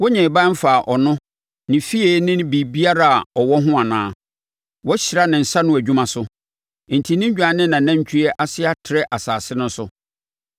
Wonnyee ban mfaa ɔno, ne fie ne biribiara a ɔwɔ ho anaa? Woahyira ne nsa ano adwuma so, enti ne nnwan ne nʼanantwie ase atrɛ asase no so.